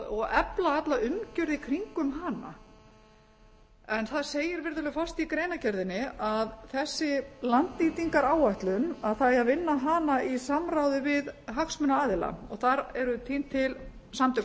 og efla alla umgjörð í kringum hana það segir virðulegi forseti í greinargerðinni að þessi landnýtingaráætlun að það eigi að vinna hana í samráði við hagsmunaaðila þar eru týnd til samtök